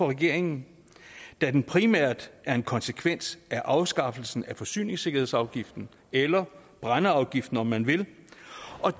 regeringen da den primært er en konsekvens af afskaffelsen af forsyningssikkerhedsafgiften eller brændeafgiften om man vil